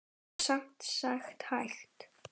Það er sem sagt hægt.